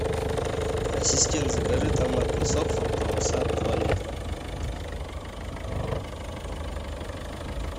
ассистент закажи томатный сок фруктовый сад два литра